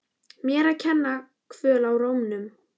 Mér að kenna- Kvöl í rómnum.